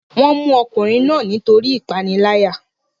wọ́n mú ọkùnrin náà nítorí ìpániláyà